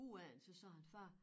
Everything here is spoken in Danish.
Ude af den så sagde han far